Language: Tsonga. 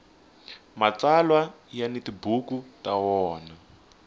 mtsalwa ya ni tibuku ta wona